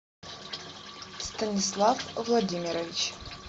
станислав владимирович